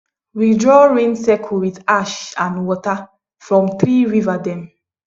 we draw rain circle with ash and water from three river dem